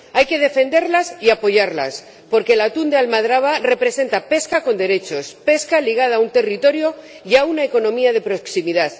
Hay que defenderlas y apoyarlas, porque el atún de almadraba representa pesca con derechos, pesca ligada a un territorio y a una economía de proximidad.